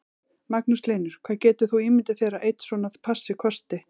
Magnús Hlynur: Hvað getur þú ímyndað þér að einn svona passi kosti?